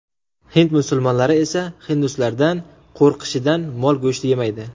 Hind musulmonlari esa hinduslardan qo‘rqishidan mol go‘shti yemaydi.